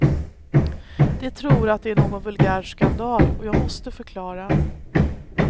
De tror att det är någon vulgär skandal, och jag måste förklara.